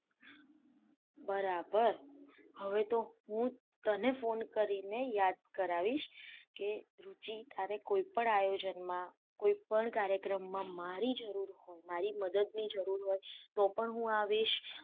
બરાબર હવે તો હું તને ફોન કરીને ને યાદ કરાવીસ કે રૂચી તારે કોઈ પણ કાર્યકમ માં મારી જરૂર મારી મદદ જરૂર હોય તો પણ આઈસ